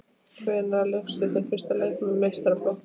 Hvenær lékstu þinn fyrsta leik með meistaraflokki?